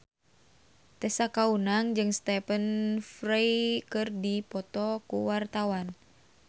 Tessa Kaunang jeung Stephen Fry keur dipoto ku wartawan